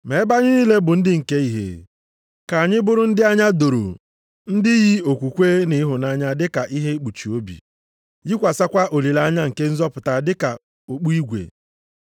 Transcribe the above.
Ma ebe anyị niile bụ ndị nke ihe, ka anyị bụrụ ndị anya doro, ndị yi okwukwe na ịhụnanya dịka ihe ikpuchi obi, yikwasịkwa olileanya nke nzọpụta dị ka okpu igwe.